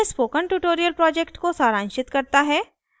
यह spoken tutorial project को सारांशित करता है